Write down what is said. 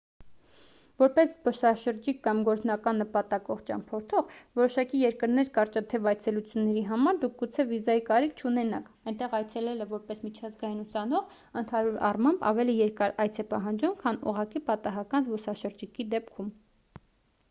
որպես զբոսաշրջիկ կամ գործնական նպատակով ճամփորդող որոշակի երկրներ կարճատև այցելությունների համար դուք գուցե վիզայի կարիք չունենաք այնտեղ այցելելը որպես միջազգային ուսանող ընդհանուր առմամբ ավելի երկար այց է պահանջում քան ուղղակի պատահական զբոսաշրջիկի դեպքում